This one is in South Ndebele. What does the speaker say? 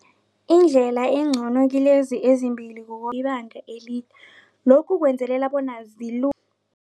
Indlela engcono kilezi ezimbili ngokwelibanga elide lokhu kwenzelela bona